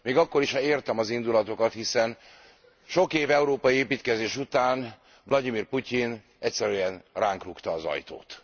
Még akkor is, ha értem az indulatokat, hiszen sok év európai építkezés után Vlagyimir Putyin egyszerűen ránk rúgta az ajtót.